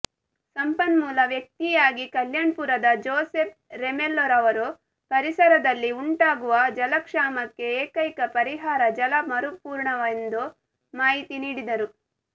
ಸಂಪನ್ಮೂಲ ವ್ಯಕ್ತಿಯಾಗಿ ಕಲ್ಯಾಣಪುರದ ಜೊಸೆಪ್ ರೆಮೆಲ್ಲೊರವರು ಪರಿಸರದಲ್ಲಿ ಉಂಟಾಗುವ ಜಲಕ್ಷಾಮಕ್ಕೆ ಎಕೈಕ ಪರಿಹಾರ ಜಲ ಮರುಪೂರಣವೆಂದು ಮಾಹಿತಿ ನೀಡಿದರು